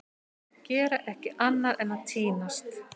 Gera ekki annað en að týnast!